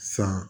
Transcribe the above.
San